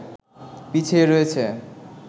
পিছিয়ে রয়েছে